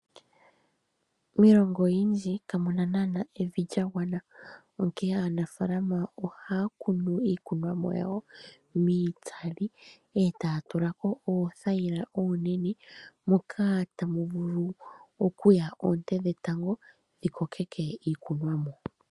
Miilongo oyindji kamuna evi lya gwana, onkene aanafaalama ohaa kunu iikunomwa yawo miitsali eta tulako oonete mono hamu piti oonte dhetango opo dhi kokeke iimeno.